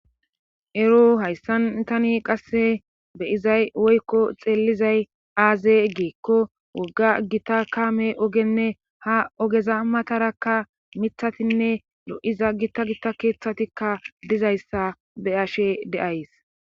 Ero hayssan tani qasse beyizay woykko xeellizay aaze geekko wogga gita kaame ogenne ha ogeza matarakka mithatinne lo7iza gita gita keeththatikka dizayssa be ashe deays